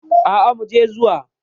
Aa muje zuwa.